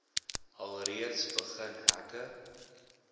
alreeds begin hekke